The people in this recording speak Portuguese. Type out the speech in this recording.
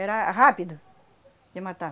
Era rápido de matar.